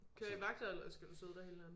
Kører i vagter eller skal du sidde der hele natten?